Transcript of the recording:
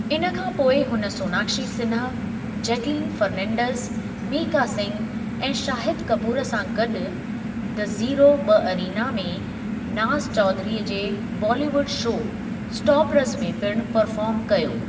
इन खां पोइ हुन सोनाक्शी सिन्हा, जैकलीन फ़रनींडस, मीका सिंघ ऐं शाहिदु कपूर सां गॾु' दी ज़ीरो ॿ अरीना' में नाज़ चौधरी जे बॉली वुडि शो स्टापरज़ में पिणु परफ़ार्म कयो।